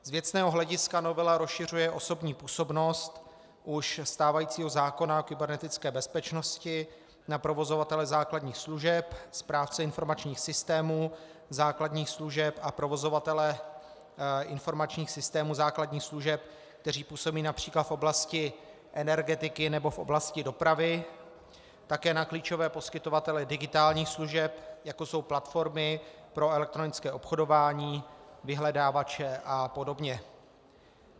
Z věcného hlediska novela rozšiřuje osobní působnost už stávajícího zákona o kybernetické bezpečnosti na provozovatele základních služeb, správce informačních systémů základních služeb a provozovatele informačních systémů základních služeb, kteří působí například v oblasti energetiky nebo v oblasti dopravy, také na klíčové poskytovatele digitálních služeb, jako jsou platformy pro elektronické obchodování, vyhledávače a podobně.